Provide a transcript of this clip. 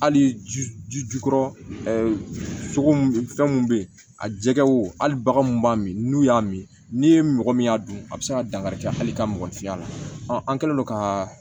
Hali ji jukɔrɔ sogo min fɛn mun be yen a jɛgɛw hali baganw b'a min n'u y'a min n'i ye mɔgɔ min y'a don a bɛ se ka dankari kɛ hali ka mɔgɔninfinya la an kɛlen don ka